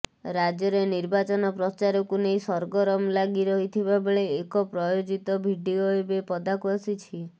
ରାଜ୍ୟରେ ନିର୍ବାଚନ ପ୍ରଚାରକୁ ନେଇ ସରଗରମ ଲାଗି ରହିଥିବାବେଳେ ଏକ ପ୍ରାୟୋଜିତ ଭିଡିଓ ଏବେ ପଦାକୁ ଆସିଛି